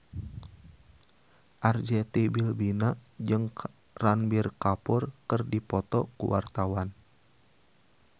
Arzetti Bilbina jeung Ranbir Kapoor keur dipoto ku wartawan